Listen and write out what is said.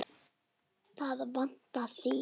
Það vantar þig.